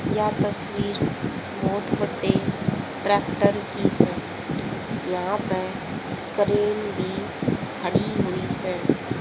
यह तस्वीर बहुत वडे ट्रैक्टर की से यहां पे क्रेन भी खड़ी हुई से।